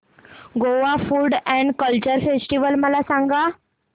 Goa food and culture festival मला सांगा